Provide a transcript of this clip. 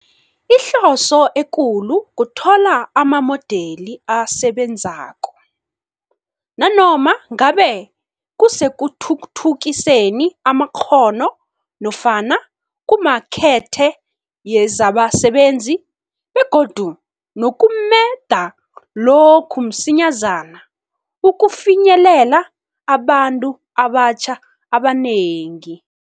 Ihloso ekulu kuthola amamodeli asebenzako, nanoma ngabe kusekuthuthukiseni amakghono nofana kumakethe yezabasebenzi, begodu nokumeda lokhu msinyazana ukufinyelela abantu abatjha abanengi.